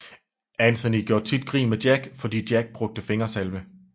Anthony gjorde tit grin med Jack fordi Jack brugte fingersalve